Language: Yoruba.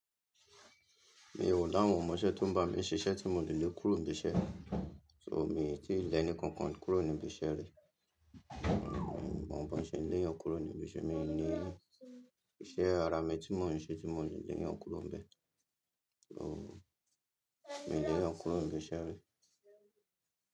Mi ò láwọ̀n omọṣẹ́ tó ń bá mi ṣiṣẹ́ tí mo lè lé kúrò níbí iṣẹ́, so mi i tí ì lẹni kankan kúrò níbí iṣẹ́ rí, mi i mi i mọ̀ bón ṣe n lèyàn kúrò níbí iṣẹ́, mi i ní iṣẹ́ ara mi tí mò ń ṣe tí mò lè leyàn kúrò níbẹ̀. Oh, mi i lèyàn kúrò níbí iṣẹ́ rí.